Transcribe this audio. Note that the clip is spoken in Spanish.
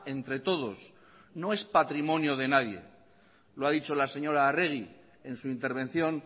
entre todos no es patrimonio de nadie lo ha dicho la señora arregi en su intervención